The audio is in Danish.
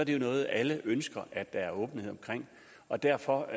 det jo noget alle ønsker at der er åbenhed omkring og derfor